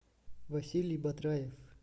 василий батраев